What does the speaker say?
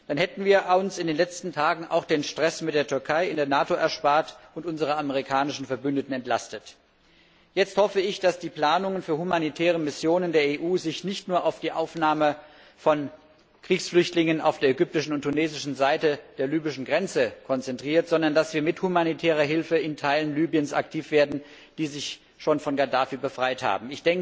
Dann hätten wir uns in den letzten Tagen auch den Stress mit der Türkei in der NATO erspart und unsere amerikanischen Verbündeten entlastet. Jetzt hoffe ich, dass sich die Planung für humanitäre Missionen der EU nicht nur auf die Aufnahme von Kriegsflüchtlingen auf der ägyptischen und tunesischen Seite der libyschen Grenze konzentriert, sondern dass wir mit humanitärer Hilfe in Teilen Libyens aktiv werden, die sich schon von Gaddafi befreit haben.